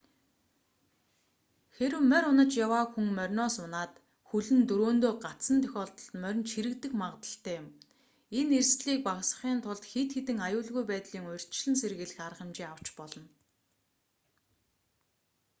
хэрэв морь унаж яваа хүн мориноос унаад хөл нь дөрөөндөө гацсан тохиолдолд моринд чирэгдэх магдлалтай юм энэ эрсдэлийг багасгахын тулд хэд хэдэн аюулгүй байдлын урьдчилан сэргийлэх арга хэмжээ авч болно